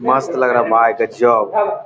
मस्त लग रहा है भाई गज़ब।